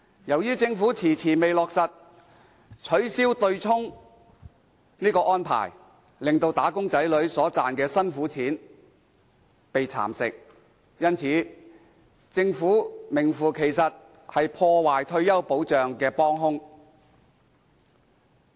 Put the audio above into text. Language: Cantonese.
由於政府遲遲未落實取消對沖安排，令"打工仔女"所賺的"辛苦錢"被蠶食，因此，政府名副其實是破壞退休保障的"幫兇"。